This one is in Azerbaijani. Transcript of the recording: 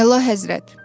Əla Həzrət!